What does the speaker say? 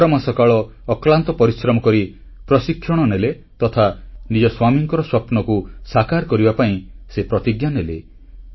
ଏଗାର ମାସକାଳ ଅକ୍ଲାନ୍ତ ପରିଶ୍ରମ କରି ପ୍ରଶିକ୍ଷଣ ନେଲେ ତଥା ନିଜ ସ୍ୱାମୀଙ୍କର ସ୍ୱପ୍ନକୁ ସାକାର କରିବା ପାଇଁ ସେ ପ୍ରତିଜ୍ଞା ନେଲେ